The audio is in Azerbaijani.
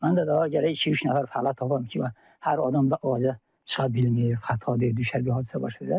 Mən də daha gərək iki-üç nəfər fəhlə tapam ki, hər adam da ağaca çıxa bilmir, xəta deyib, düşüb bir hadisə baş verər.